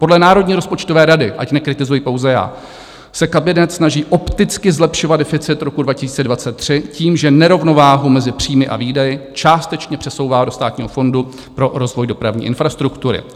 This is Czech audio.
Podle Národní rozpočtové rady, ať nekritizuji pouze já, se kabinet snaží opticky zlepšovat deficit roku 2023 tím, že nerovnováhu mezi příjmy a výdaji částečně přesouvá do Státního fondu pro rozvoj dopravní infrastruktury.